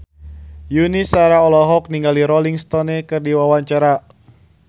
Yuni Shara olohok ningali Rolling Stone keur diwawancara